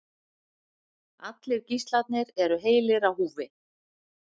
Allir gíslarnir eru heilir á húfi